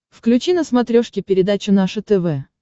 включи на смотрешке передачу наше тв